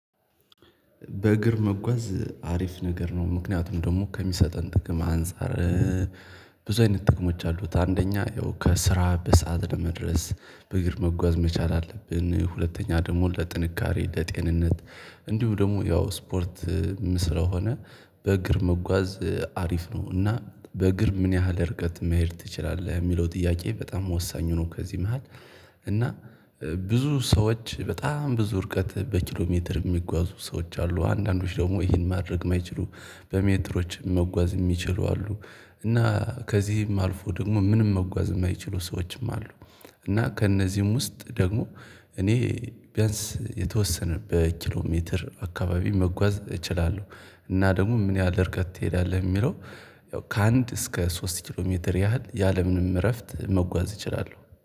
በእግር መጓዝ አሪፍ ነገር ነው ምክንያቱም ደግሞ ከሚሰጠን ጥቅም አንፃር ብዙ አይነት ጥቅሞች አሉት። አንደኛ ያው ከስራ በሰአት ለመድረስ በእግር መጓዝ መቻል አለብን። ሁለተኛ ደግሞ ለጥንካሬ ለጤንነት እንዲሁ ደግሞ ያው ስፖርት ስለሆነ በእግር መጓዝ አሪፍ ነው። እና በእግር ምን ያህል ርቀት መሄድ ትችላለህ የሚለው ጥያቄ በጣም ወሳኝ ሆኖ ከዚህ መሃል። እና ብዙ ሰዎች በጣም ብዙ እርቀት በኪሎሜትር የሚጓዙ ሰዎች አሉ አንዳንዶች ደግሞ ይህን ማድረግ የማይችሉ በሜትሮች መጓዝ የሚችሉ አሉ። እና ከዚህም አልፎ ደግሞ ምንም መጓዝ የማይችሉ ሰዎችም አሉ። እና ከእነዚህም ውስጥ ደግሞ እኔ ቢያንስ የተወሰነ በኪሎሜትር አካባቢ መጓዝ እችላለሁ። እና ደግሞ ምን ያህል እርቀት ትሄዳለህ የሚለው? ያው ከአንድ እስከ ሶስት ኪሎ ሜትር ያህል ያለምንም እረፍት መጓዝ እችላለሁ